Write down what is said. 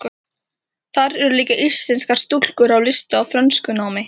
Þar eru líka íslenskar stúlkur í lista- og frönskunámi.